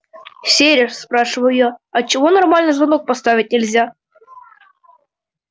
сереж спрашиваю я а чего нормальный звонок поставить нельзя